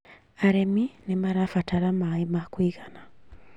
Arĩmi nĩmarabatara maĩ ma kũigana